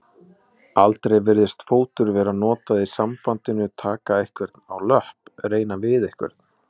Aldrei virðist fótur vera notað í sambandinu taka einhvern á löpp reyna við einhvern.